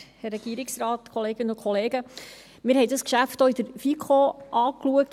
Wir haben dieses Geschäft auch in der FiKo angeschaut.